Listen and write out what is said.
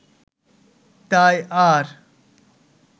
তাই আর